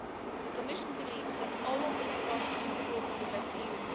The Commission believes that all of these points improve InvestEU.